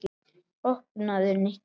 Opnaðu, Nikki.